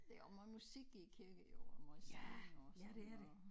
Der jo også meget musik i æ kirke jo og måj sang og sådan noget